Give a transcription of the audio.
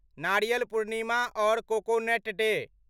नारियल पूर्णिमा और coconut day